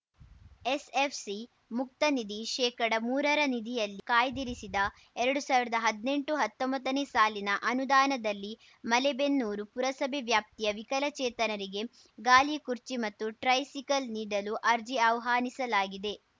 SFC ಮುಕ್ತ ನಿಧಿ ಶೇಕಡಮೂರರ ನಿಧಿಯಲ್ಲಿ ಕಾಯ್ದಿರಿಸಿದ ಎರ್ಡು ಸಾವಿರ್ದಾ ಹದ್ನೆಂಟುಹತ್ತೊಂಬತ್ತನೇ ಸಾಲಿನ ಅನುದಾನದಲ್ಲಿ ಮಲೆಬೆನ್ನೂರು ಪುರಸಭೆ ವ್ಯಾಪ್ತಿಯ ವಿಕಲಚೇತನರಿಗೆ ಗಾಲಿಕುರ್ಚಿ ಮತ್ತು ಟ್ರೈಸಿಕಲ್‌ ನೀಡಲು ಅರ್ಜಿ ಆಹ್ವಾನಿಸಲಾಗಿದೆ